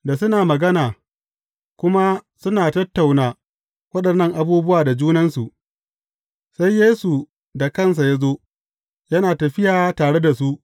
Da suna magana, kuma suna tattauna waɗannan abubuwa da junansu, sai Yesu da kansa ya zo yana tafiya tare da su.